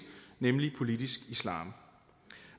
nemlig politisk islam